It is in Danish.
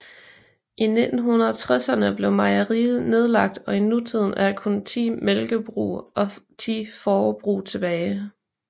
I 1960erne blev mejeriet nedlagt og i nutiden er der kun 10 mælkebrug og 10 fårebrug tilbage